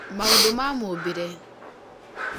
maũndũ ma mũũmbĩre